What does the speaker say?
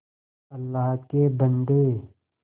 अल्लाह के बन्दे